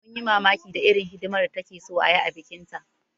Mun yi mamakin da irin hidimar da takeso ayi a bikin ta